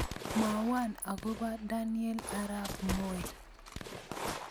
Mwawon agobo Daniel arap Moi